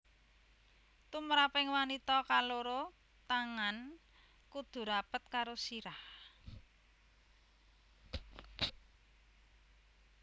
Tumraping wanita kaloro tangan kudu rapet karo sirah